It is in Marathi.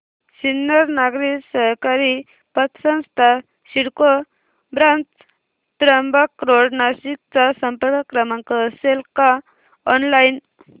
सिन्नर नागरी सहकारी पतसंस्था सिडको ब्रांच त्र्यंबक रोड नाशिक चा संपर्क क्रमांक असेल का ऑनलाइन